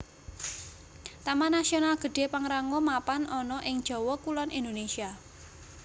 Taman Nasional Gede Pangrango mapan ana ing Jawa Kulon Indonésia